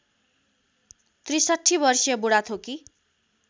६३ वर्षीय बुढाथोकी